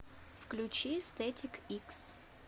включи стэтик икс